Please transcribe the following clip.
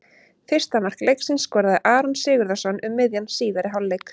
Fyrsta mark leiksins skoraði Aron Sigurðarson um miðjan síðari hálfleik.